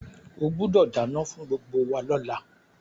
O gbúdọ̀ dánán fún gbgbo wa lọ́la